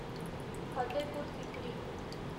Fatehpur Sikri